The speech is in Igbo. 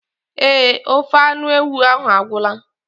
Eé, ofe anụ ewu ahụ agwụla.